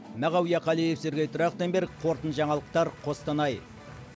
мағауия қалиев сергей трахтенберг қорытынды жаңалықтар қостанай